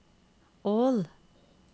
Ål